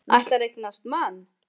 Ætlar að eignast mann.